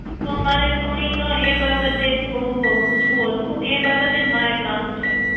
તો મારે થોડીક એ બાબતે જ પૂછવું હતું એ બાબતે જ મારે કામ છે